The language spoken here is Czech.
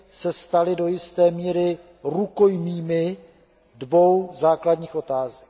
se staly do jisté míry rukojmími dvou základních otázek.